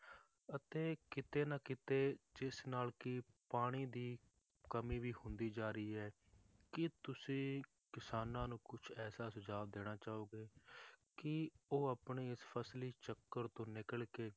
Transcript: ਅਤੇ ਕਿਤੇ ਨਾ ਕਿਤੇ ਜਿਸ ਨਾਲ ਕਿ ਪਾਣੀ ਦੀ ਕਮੀ ਵੀ ਹੁੰਦੀ ਜਾ ਰਹੀ ਹੈ ਕੀ ਤੁਸੀਂ ਕਿਸਾਨਾਂ ਨੂੰ ਕੁਛ ਐਸਾ ਸੁਝਾਅ ਦੇਣਾ ਚਾਹੋਗੇ ਕਿ ਉਹ ਆਪਣੇ ਇਸ ਫਸਲੀ ਚੱਕਰ ਤੋਂ ਨਿਕਲ ਕੇ